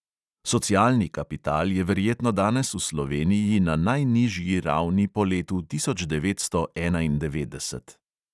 Socialni kapital je verjetno danes v sloveniji na najnižji ravni po letu tisoč devetsto enaindevetdeset.